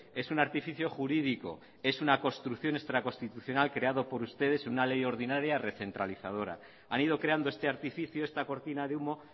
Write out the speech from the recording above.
es un artificio jurídico es una construcción extraconstitucional creado por ustedes en una ley ordinaria recentralizadora han ido creando este artificio esta cortina de humo